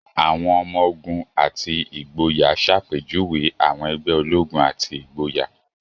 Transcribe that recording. Àwọn ọmọ-ogun àti ìgboyà ṣàpèjúwe àwọn ẹgbẹ́ ológun àti ìgboyà.